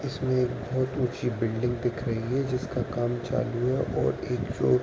इसमें एक बोहोत ऊची बिल्डिंग दिख रही है जिसका काम चालू है और एक जो --